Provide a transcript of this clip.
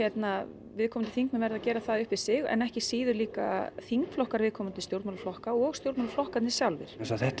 viðkomandi þingmenn verða að gera það upp við sig en ekki síður þingflokkar viðkomandi stjórnmálaflokka og stjórnmálaflokkarnir sjálfir